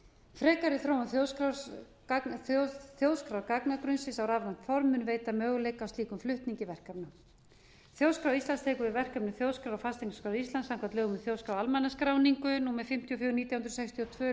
frekari þróun þjóðskrárgagnagrunnsins á rafrænt for mun veita möguleika á slíkum flutningi verkefna þjóðskrá íslands tekur við verkefnum þjóðskrár og fasteignaskrár íslands samkvæmt lögum um þjóðskrá og almannaskráningu númer fimmtíu og fjögur nítján hundruð sextíu og tveimur